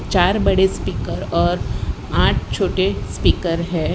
चार बड़े स्पीकर और आठ छोटे स्पीकर हैं।